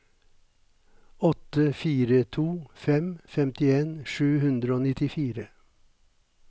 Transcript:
åtte fire to fem femtien sju hundre og nittifire